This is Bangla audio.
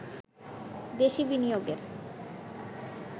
দেশি বিনিয়োগের